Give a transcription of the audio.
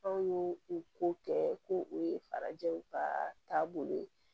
Anw y'o o ko kɛ ko o ye farajɛw ka taabolo ye